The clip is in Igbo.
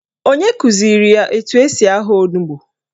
Onye kụziri ya etu esi ahọ onugbo?